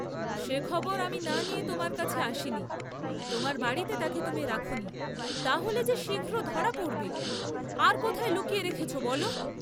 সে খবর আমি না নিয়ে তোমার কাছে আসিনি, তোমার বাড়ীতে তাকে তুমি রাখনি, তা হলে যে শীঘ্র ধরা পড়বে, আর কোথায় লুকিয়ে রেখেছ বল?